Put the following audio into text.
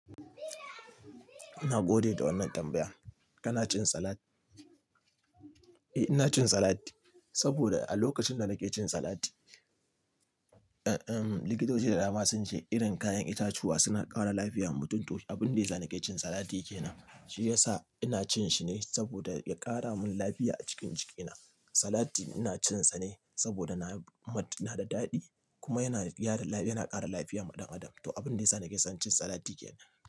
Ina gode da wannan tambaya. Kana cin salat? Eh ina cin salat. Saboda a lokacin da nake cin salat, eh, eh, likitoci da dama sun ce irin kayan itatuwa suna ƙara lafiya ma mutum. To abin da ya sa nake cin salati kenan. Shi ya sa ina cin shi ne saboda ya ƙara mun lafiya a jikin jikina. Salati ina cin sa ne saboda na, na da daɗi kuma yana gyara lafiya, yana ƙara lafiya ma ɗan adam. To abin da ya sa nake son cin salat yake nan.